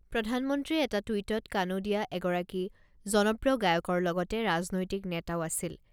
প্ৰধানমন্ত্ৰীয়ে এটা টুইটত কানোডিয়া এগৰাকী জনপ্ৰিয় গায়কৰ লগতে ৰাজনৈতিক নেতাও আছিল।